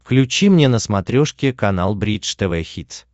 включи мне на смотрешке канал бридж тв хитс